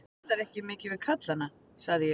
Þú talar ekki mikið við kallana, sagði ég.